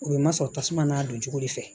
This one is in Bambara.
O ye ma sɔrɔ tasuma n'a doncogo de fɛ